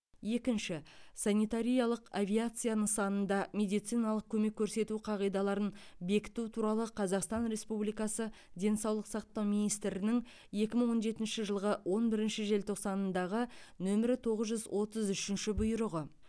екінші санитариялық авиация нысанында медициналық көмек көрсету қағидаларын бекіту туралы қазақстан республикасы денсаулық сақтау министрінің екі мың он жетінші жылғы он бірінші желтоқсанындағы нөмірі тоғыз жүз отыз үшінші бұйрығы